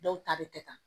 Dɔw ta bɛ kɛ tan